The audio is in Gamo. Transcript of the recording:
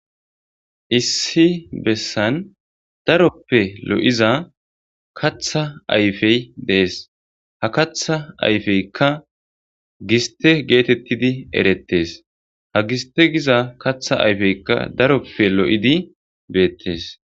issi bessan daroppe lo7iza katha ayfey dees ha katha ayfeykka giste geetettidi erettes ha giste giza katha ayfeykka daroppe lo7idi beettes